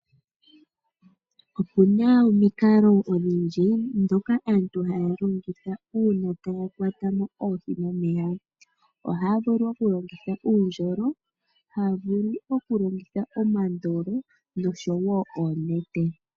Opu na omikalo odhindji, ndhoka aantu haya longitha opo ya kwate mo oohi momeya. Ohaya vu okulongitha uundjolo, ohaya vu okulongitha omandolo osho woo oonete.